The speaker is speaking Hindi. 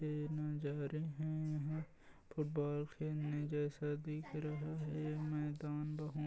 --ए नजारे हैं यहाँ फुटबॉल खेलने जेसा दिख रहा है मैदान बहुत--